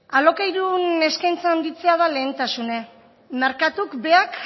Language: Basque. alokairun eskaintza handitzea da lehentasune merkatuk beak